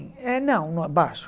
Eh não baixo.